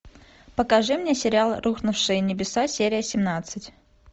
покажи мне сериал рухнувшие небеса серия семнадцать